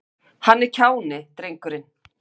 Hann er kjáni, drengurinn.